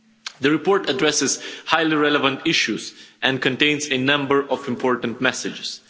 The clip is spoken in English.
The report addresses highly relevant issues and contains a number of important messages.